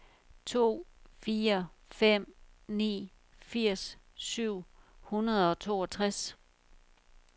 to fire fem ni firs syv hundrede og toogtres